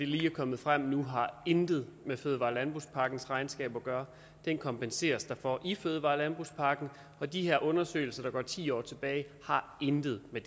lige er kommet frem nu har intet med fødevare og landbrugspakkens regnskab at gøre den kompenseres der for i fødevare og landbrugspakken de her undersøgelser der går ti år tilbage har intet med